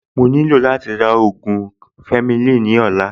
Mo nílò láti ra ògùn Fleming ní ọ̀la